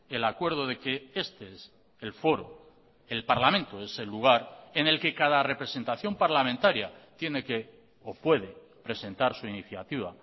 el acuerdo de que este es el foro el parlamento es el lugar en el que cada representación parlamentaria tiene que o puede presentar su iniciativa